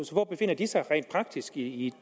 hvor befinder de sig rent praktisk i